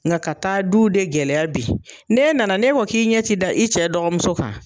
Nga ka taa du de gɛlɛya bi, n'e nana ne ko k'i ɲɛ ti da i cɛ dɔgɔmuso kan